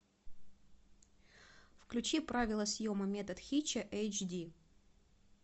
включи правила съема метод хитча эйч ди